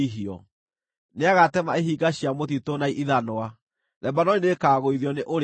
Nĩagatema ihinga cia mũtitũ na ithanwa; Lebanoni nĩĩkagũithio nĩ Ũrĩa-ũrĩ-Hinya.